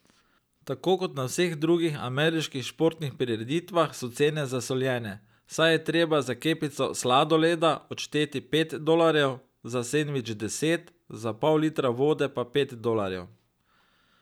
Tako kot na vseh drugih ameriških športnih prireditvah so cene zasoljene, saj je treba za kepico sladoleda odšteti pet dolarjev, za sendvič deset, za pol litra vode pa pet dolarjev.